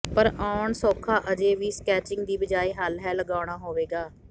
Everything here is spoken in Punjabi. ਪਰ ਆਉਣ ਸੌਖਾ ਅਜੇ ਵੀ ਸਕੈਚਿੰਗ ਦੀ ਬਜਾਏ ਹੱਲ ਹੈ ਲਗਾਉਣਾ ਹੋਵੇਗਾ